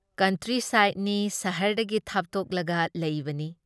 Country ꯁꯥꯏꯠꯅꯤ ꯁꯍꯔꯗꯒꯤ ꯊꯥꯞꯇꯣꯛꯂꯒ ꯂꯩꯕꯅꯤ ꯫